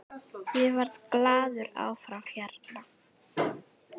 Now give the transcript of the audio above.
Ég verð glaður áfram hérna.